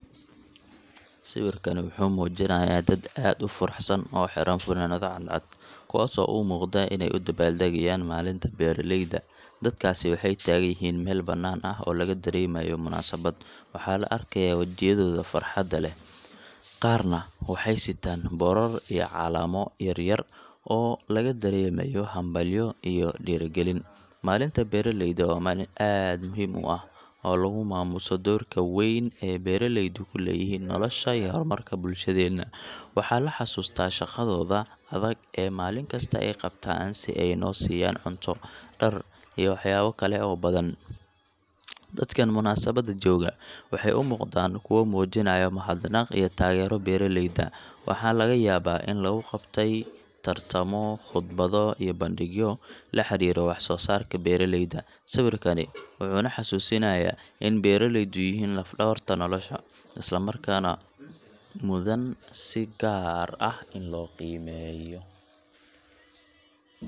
Sawirkani wuxuu muujinayaa dad aad u faraxsan oo xiran funaanado cadcad, kuwaasoo u muuqda inay u dabaal-degayaan Maalinta Beeraleyda. Dadkaasi waxay taagan yihiin meel bannaan oo laga dareemayo munaasabad. Waxaa la arkayaa wejiyadooda farxad leh, qaarna waxay sita boorar iyo calamo yar yar oo laga dareemayo hambalyo iyo dhiirrigelin. Maalinta Beeraleyda waa maalin aad u muhiim ah oo lagu maamuuso doorka weyn ee beeraleydu ku leeyihiin nolosha iyo horumarka bulshadeena. Waxaa la xasuustaa shaqadooda adag ee maalin kasta ay qabtaan si ay noo siiyaan cunto, dhar, iyo waxyaabo kale oo badan. Dadkan munaasabadda jooga waxay u muuqdaan kuwo muujinaya mahadnaq iyo taageero beeraleyda. Waxaa laga yaabaa in lagu qabtay tartamo, khudbado, iyo bandhigyo la xiriira wax-soo-saarka beeraleyda. Sawirkani wuxuu na xasuusinayaa in beeraleydu yihiin laf-dhabarta nolosha, isla markaana mudan si gaar ah in loo qiimeeyo.